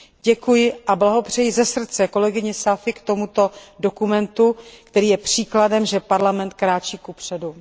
Děkuji a blahopřeji ze srdce kolegyni Saïfiové k tomuto dokumentu, který je příkladem, že Parlament kráčí kupředu.